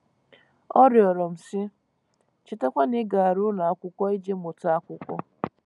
Ọ rịọrọ m, sị: Chetakwa na ị gara ụlọ akwụkwọ iji mụta akwụkwọ.